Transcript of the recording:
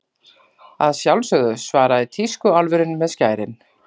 Að sjálfsögðu, svaraði tískuálfurinn með skærin.